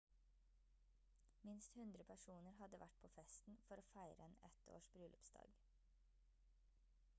minst 100 personer hadde vært på festen for å feire en et års bryllupsdag